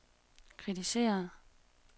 kritiseret